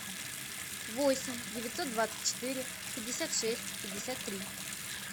восемь девятьсот двадцать четыре пятьдесят шесть пятьдесят три